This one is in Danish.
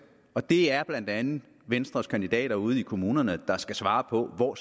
og det er blandt andet venstres kandidater ude i kommunerne der skal svare på hvor